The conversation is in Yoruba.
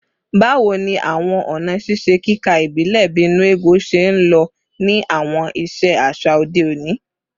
Bawo ni awọn ọna ṣiṣe kika ibile, bii “nnu ego,” ṣe nlo ni awọn iṣe aṣa ode oni?